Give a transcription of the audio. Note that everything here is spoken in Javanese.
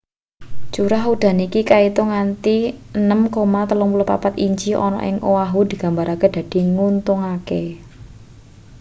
curah udan iki kaitung nganti 6,34 inci ana ing oahu digambarake dadi nguntungake